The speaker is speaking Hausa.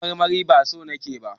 kayan marmarin ba su Niku ba?